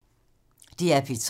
DR P3